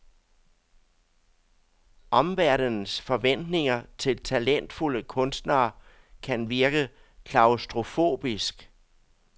Omverdenens forventninger til talentfulde kunstnere kan virke klaustrofobisk.